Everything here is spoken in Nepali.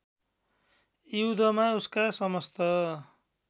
युद्धमा उसका समस्त